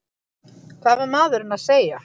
Hvað var maðurinn að segja?